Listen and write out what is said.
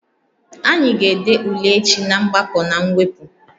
Anyị ga-ede ule echi na mgbakọ na mwepụ